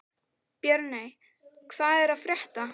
Björney, hvað er að frétta?